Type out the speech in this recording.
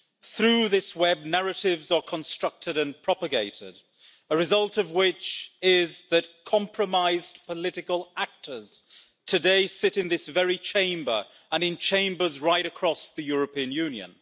Through this web narratives are constructed and propagated, a result of which is that compromised political actors today sit in this very Chamber and in Chambers right across the European Union.